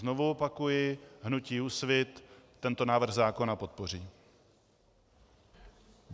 Znovu opakuji, hnutí Úsvit tento návrh zákona podpoří.